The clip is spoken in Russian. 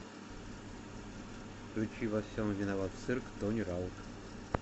включи во всем виноват цирк тони раут